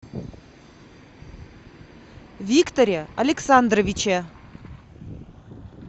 викторе александровиче